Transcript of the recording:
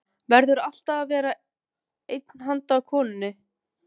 Jóhanna: Verður alltaf að vera einn handa konunni?